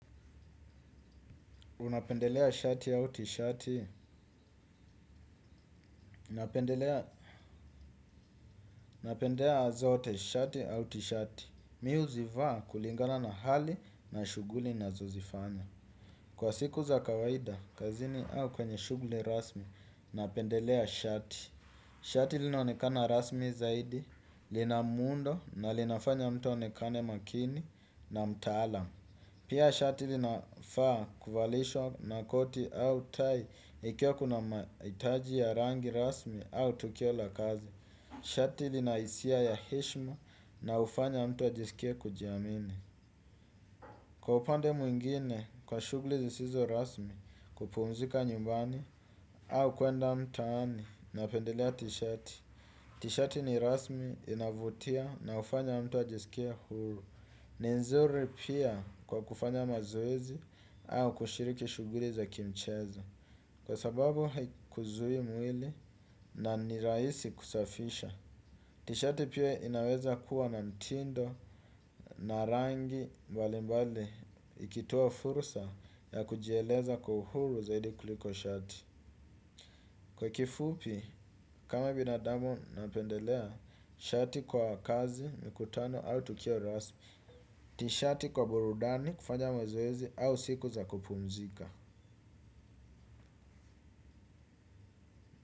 Unapendelea shati au tishati, napendelea zote shati au tishati. Mi huzivaa kulingana na hali na shughuli nazozifanya. Kwa siku za kawaida, kazini au kwenye shughuli rasmi, napendelea shati. Shati linaonekana rasmi zaidi, lina muundo na linafanya mtu aonekane makini na mtaalam. Pia shati linafaa kuvalishwa na koti au tai ikiwa kuna mahitaji ya rangi rasmi au tukio la kazi. Shati lina hisia ya heshima na hufanya mtu ajisikie kujiamini. Kwa upande mwingine kwa shughuli zisizo rasmi kupumzika nyumbani au kuenda mtaani napendelea tishati. Tishati ni rasmi inavutia na hufanya mtu ajisikie huru. Ni nzuri pia kwa kufanya mazoezi au kushiriki shughuli za kimchezo. Kwa sababu haikuzuii mwili na ni rahisi kusafisha. Tishati pia inaweza kuwa na mtindo na rangi mbali mbali. Ikitoa fursa ya kujieleza kwa uhuru zaidi kuliko shati. Kwa kifupi, kama binadamu napendelea shati kwa kazi mikutano au tukio rasmi. Tishati kwa burudani kufanya mazoezi au siku za kupumzika.